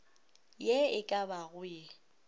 ye e ka bago ye